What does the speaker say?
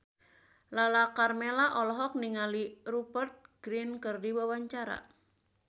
Lala Karmela olohok ningali Rupert Grin keur diwawancara